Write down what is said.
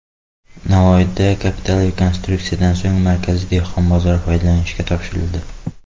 Navoiyda kapital rekonstruksiyadan so‘ng markaziy dehqon bozori foydalanishga topshirildi.